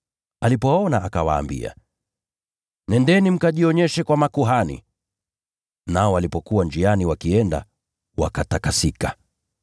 Alipowaona akawaambia, “Nendeni mkajionyeshe kwa makuhani.” Nao walipokuwa njiani wakienda, wakatakasika.